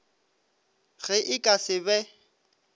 ge e ka se be